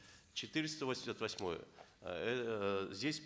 четыреста восемьдесят восьмой эээ здесь